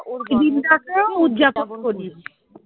ওর